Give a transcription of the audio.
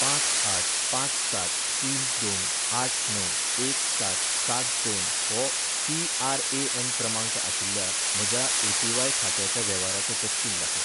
पांच आठ पांच सात तीन दोन आठ णव एक सात सात दोन हो पी.आर.ए.एन. क्रमांक आशिल्ल्या म्हज्या ए.पी.व्हाय खात्याच्या वेव्हाराचो तपशील दाखय